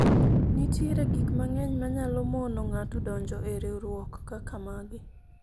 nitiere gik mang'eny manyalo mono ng'ato donjo e riwruok kaka magi